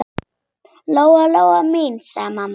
Lóa-Lóa mín, sagði mamma.